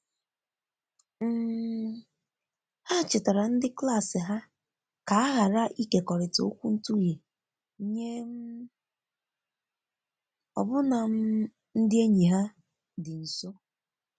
um ha chetara ndi klas ha ka ha ghara ikekọrita okwuntughe nye um ọbụna um ndi enyi ha di nso.